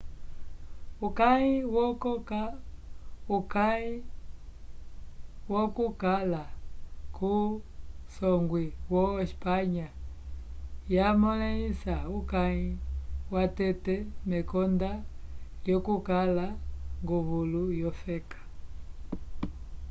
uyaki wokukala kusongwi wo espanha yamõlisa uyaki watete mekonda lyokukala nguvulu wofeka